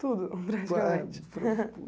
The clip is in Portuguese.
Tudo,